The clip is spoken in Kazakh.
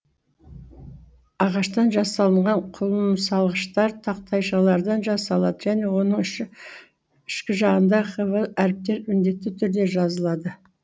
ағаштан жасалынған құмсалғыштар тақтайшалардан жасалады және оның ішкі жағында хв әріптері міндетті түрде жазылады